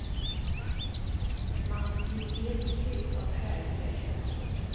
Man blir helt slut av härliga känslor.